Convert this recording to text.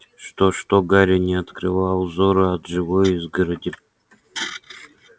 что что гарри не отрывал взора от живой изгороди